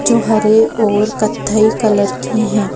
जो हरे और कथई कलर की है।